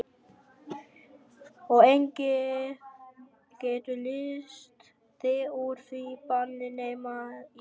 Og enginn getur leyst þig úr því banni nema ég.